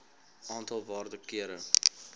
aantal waarde kere